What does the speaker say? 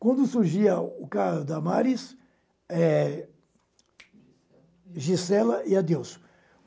Quando surgia o caso Damaris, eh Gisela Gisela e Adelso.